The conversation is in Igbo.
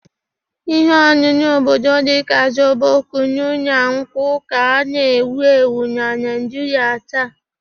Ihe ọṅụṅụ obodo dị ka zobo, kunu, na nkwụ ka na-ewu ewu na Naijiria taa.